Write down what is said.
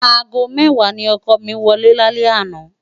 ágó mèwá ni òkò mi wòlé lálè àná